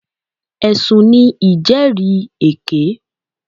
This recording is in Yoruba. Ẹ̀sùn ní ìjẹ́rìèké.